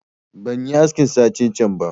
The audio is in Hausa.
Ban yi aski satin can ba